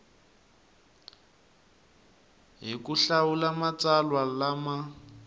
hi ku hlawula matsalwa lama